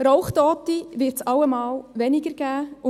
Rauchtote wird es allemal weniger geben.